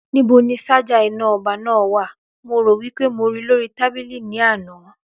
Ní bo ni sájà iná ọba náà wa? mo rò wípé mo ríi lórí tábìlì ní àná